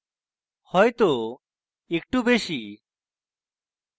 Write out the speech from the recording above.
হয়তো একটু বেশী